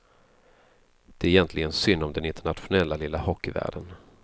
Det är egentligen synd om den internationella lilla hockeyvärlden.